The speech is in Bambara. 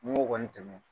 N ko kɔni tɛmɛnen